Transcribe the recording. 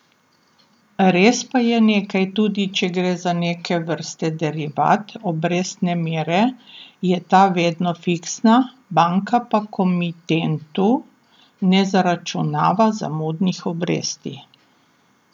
Res pa je nekaj, tudi če gre za neke vrste derivat obrestne mere, je ta vedno fiksna, banka pa komitentu ne zaračunava zamudnih obresti.